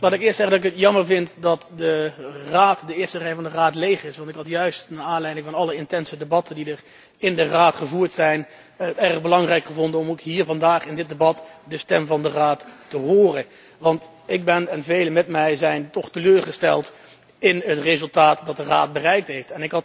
Ik vind het jammer dat de eerste rij van de Raad leeg is, want ik had het juist naar aanleiding van alle intense debatten die in de Raad gevoerd zijn, erg belangrijk gevonden om ook hier vandaag in dit debat de stem van de Raad te horen. Want ik ben, en velen met mij, toch teleurgesteld in het resultaat dat de Raad bereikt heeft.